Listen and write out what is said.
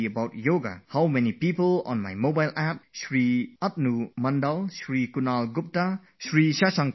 Just see how many people on my mobile App... Shri Atanu Mandal, Shri Kunal Gupta, ShriSushant Kumar, Shri K